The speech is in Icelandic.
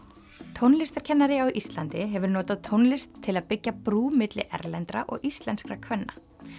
tónlistarkennari á Íslandi hefur notað tónlist til að byggja brú milli erlendra og íslenskra kvenna